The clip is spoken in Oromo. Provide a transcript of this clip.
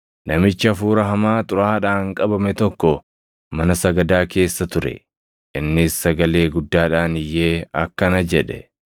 Namichi hafuura hamaa xuraaʼaadhaan qabame tokko mana sagadaa keessa ture. Innis sagalee guddaadhaan iyyee akkana jedhe;